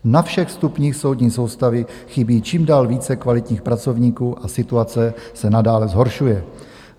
Na všech stupních soudní soustavy chybí čím dál více kvalitních pracovníků a situace se nadále zhoršuje.